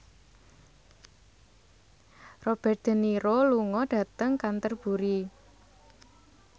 Robert de Niro lunga dhateng Canterbury